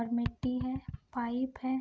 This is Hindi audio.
और मिट्टी है पाइप है।